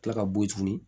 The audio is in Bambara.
Kila ka bo yen tuguni